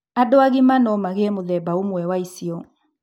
Andũ agima no magĩe mũthemba ũmwe wa icio.